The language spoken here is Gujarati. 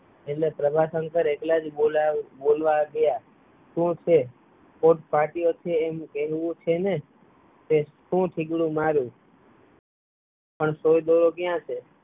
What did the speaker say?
એટલે પ્રભાશંકર એખલા જ બોલવા માંડ્યા શું છે? કોટ ફાટ્યો છે એમ કહવુ છે ને કે સોય થીંગડા મારું પણ સોય દોરો ક્યાં છે.